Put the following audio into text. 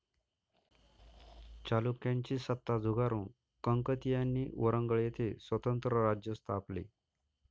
चालुक्यांची सत्ता झुगारून कंकतीयांनी वरंगळ येथे स्वतंत्र राज्य स्थापले.